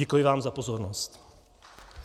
Děkuji vám za pozornost.